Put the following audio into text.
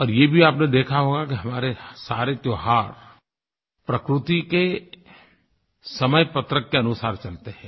अब ये भी आपने देखा होगा कि हमारे सारे त्योहार प्रकृति के समय पत्रक के अनुसार चलते हैं